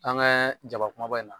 An ka jaba kumaba in na